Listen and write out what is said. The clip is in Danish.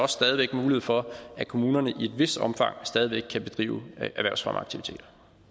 stadig væk mulighed for at kommunerne i et vist omfang stadig kan bedrive erhvervsfremmeaktiviteter